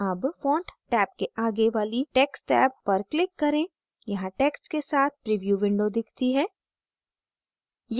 tab font tab के आगे वाली text tab पर click करें यहाँ text के साथ प्रीव्यू window दिखती है